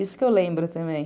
Isso que eu lembro também.